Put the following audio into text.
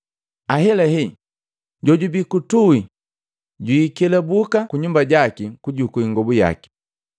Ahelahe jojubii kutui jwikelabuka kunyumba jaki kujukuu ingobu yaki.